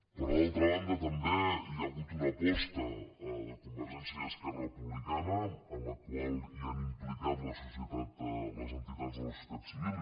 per altra banda també hi ha hagut una aposta de convergència i esquerra republicana en la qual han implicat les entitats de la societat civil